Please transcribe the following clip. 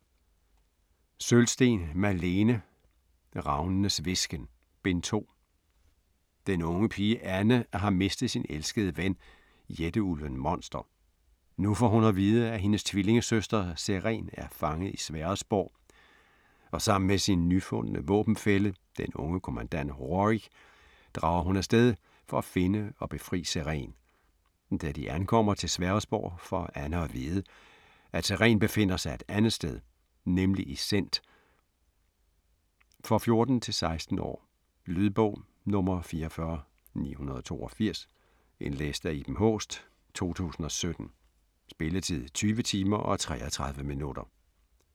Sølvsten, Malene: Ravnenes hvisken: Bind 2 Den unge pige, Anne har mistet sin elskede ven, jætteulven monster. Nu får hun at vide, at hendes tvillingesøster, Serén er fange i Sverresborg, og sammen med sin nyfundne våbenfælle, den unge kommandant, Rorik, drager hun afsted for at finde og befri Serén. Da de ankommer til Sverresborg får Anne at vide, at Serén befinder sig et andet sted - nemlig i Sént. For 14-16 år. Lydbog 44982 Indlæst af Iben Haaest, 2017. Spilletid: 20 timer, 33 minutter.